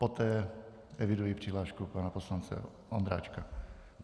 Poté eviduji přihlášku pana poslance Ondráčka.